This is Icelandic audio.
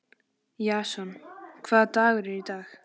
Jason, hvaða dagur er í dag?